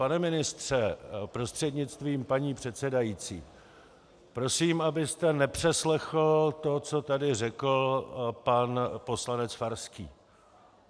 Pane ministře prostřednictvím paní předsedající, prosím, abyste nepřeslechl to, co tady řekl pan poslanec Farský.